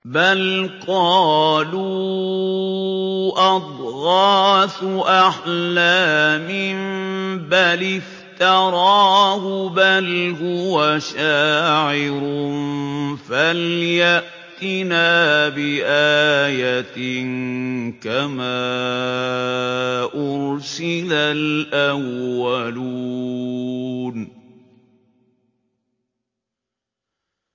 بَلْ قَالُوا أَضْغَاثُ أَحْلَامٍ بَلِ افْتَرَاهُ بَلْ هُوَ شَاعِرٌ فَلْيَأْتِنَا بِآيَةٍ كَمَا أُرْسِلَ الْأَوَّلُونَ